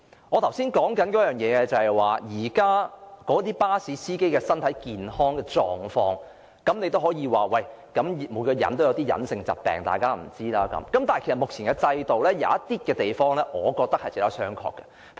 我剛才說到巴士司機的身體健康狀況，有人可能會說每個人或有一些別人不知道的隱疾；但其實目前的制度中有一些規定，我認為值得商榷。